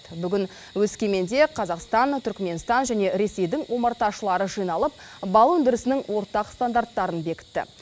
бүгін өскеменде қазақстан түркіменстан және ресейдің омарташылары жиналып бал өндірісінің ортақ стандарттарын бекітті